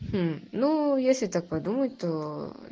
ну если так подумать то